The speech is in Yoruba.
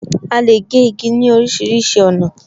A lè gé igi sí orísìírísìí ọ̀nà